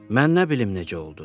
Mən nə bilim necə oldu?